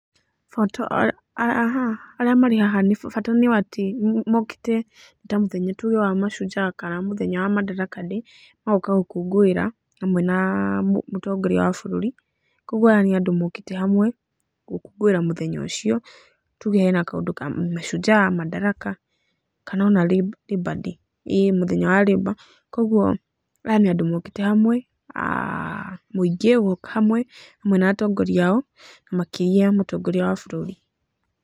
Arĩa marĩ haha, bata nĩ atĩ mokĩte mũthenya ta tuge mũthenya wa mashujaa kana mũthenya wa madaraka day magoka gũkũngũira hamwe na mũtongoria wa bũrũri, koguo aya nĩ andũ mokĩte hamwe gũkũngũĩra mũthenya ũcio, tuge he na kaũndũ ka Mashujaa, madaraka, kana o na Labour day, ĩĩ mũthenya wa Labour, koguo aya nĩ andũ mokĩte hamwe, mũingĩ ũgoka hamwe, hamwe na atongoria ao, makĩria mũtongoria wa bũrũri.